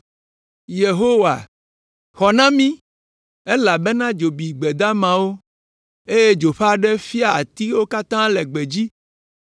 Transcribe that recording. Yehowa, xɔ na mí! Elabena dzo bi gbe damawo, eye dzo ƒe aɖe fia atiwo katã le gbedzi.